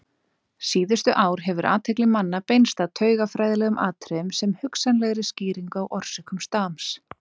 Síðustu ár hefur athygli manna beinst að taugafræðilegum atriðum sem hugsanlegri skýringu á orsökum stams.